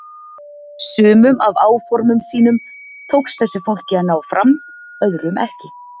Sumum af áformum sínum tókst þessu fólki að ná fram, öðrum ekki.